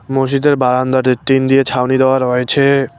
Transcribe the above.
মসজিদের বারান্দাটে টিন দিয়ে ছাউনি দেওয়া রয়েছে।